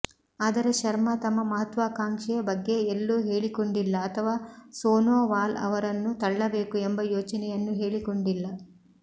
ಆದರೆ ಶರ್ಮಾ ತಮ್ಮ ಮಹತ್ವಾಕಾಂಕ್ಷೆ ಬಗ್ಗೆ ಎಲ್ಲೂ ಹೇಳಿಕೊಂಡಿಲ್ಲ ಅಥವಾ ಸೋನೋವಾಲ್ ಅವರನ್ನು ತಳ್ಳಬೇಕು ಎಂಬ ಯೋಚನೆಯನ್ನೂ ಹೇಳಿಕೊಂಡಿಲ್ಲ